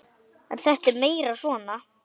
En þetta er meira svona.